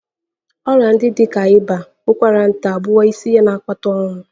Ọrịa ndị dị ka ịba, ụkwara nta abụwo isi ihe na-akpata ọnwụ